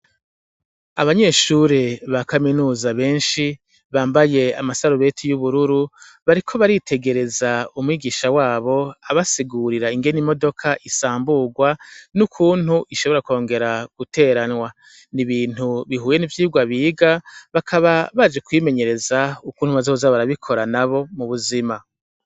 Abanyeshuri ba kaminuza benshi bambaye amasarubeti y'ubururu bariko baritegereza umwigisha wabo abasigurira ingene imodoka isamburwa n'ukuntu ishobora kwongera guteranwa ni ibintu bihuye n'ivyirwa biga bakaba baje kwimenyereza ukuntu bazoa a barabikora na bo mu buzima.